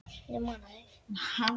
Hvar eru plastbrúsi gredda og andrá